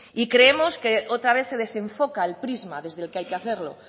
y creemos que otra vez se desenfoca el prisma desde el que hay que hacerlo